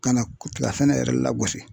Ka na tiga sɛnɛ yɛrɛ la gosi.